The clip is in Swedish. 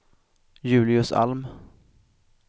Julius Alm